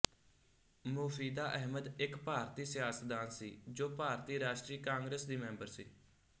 ਮੋਫ਼ੀਦਾ ਅਹਿਮਦ ਇੱਕ ਭਾਰਤੀ ਸਿਆਸਤਦਾਨ ਸੀ ਜੋ ਭਾਰਤੀ ਰਾਸ਼ਟਰੀ ਕਾਂਗਰਸ ਦੀ ਮੈਂਬਰ ਸੀ